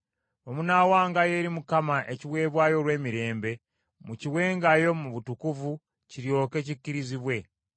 “Bwe munaawangayo eri Mukama ekiweebwayo olw’emirembe, mukiwengayo mu butuufu kiryoke kikkirizibwe.